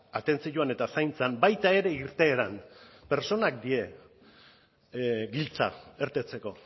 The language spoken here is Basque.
atentzioan eta zaintzan baita ere irteeran pertsonak dira giltza irtetzeko